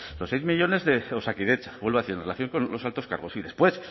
los seis millónes de osakidetza vuelvo a decir en relación con los altos cargos y después